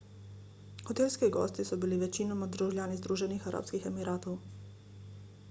hotelski gosti so bili večinoma državljani združenih arabskih emiratov